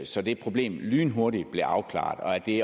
så det problem lynhurtigt blev afklaret det